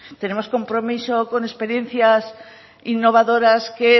tenemos compromiso con experiencias innovadoras que